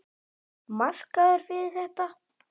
Markaður fyrir þetta?